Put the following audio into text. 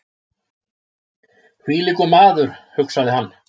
Hvílíkur maður! hugsaði hann.